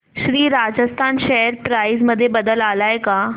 Shri Rajasthan share price मध्ये बदल आलाय का